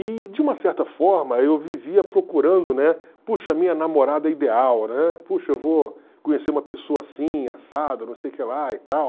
E, de uma certa forma, eu vivia procurando, né, puxa, minha namorada ideal, né, puxa, eu vou conhecer uma pessoa assim, assado, não sei o que lá e tal.